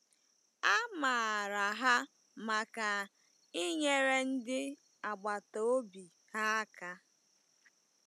A maara ha maka inyere ndị agbata obi ha aka.